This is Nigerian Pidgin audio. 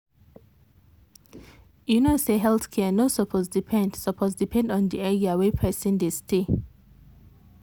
you know say health care no suppose depend suppose depend on the area wey person dey stay.